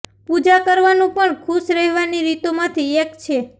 પૂજા કરવાનું પણ ખુશ રહેવાની રીતો માંથી એક છે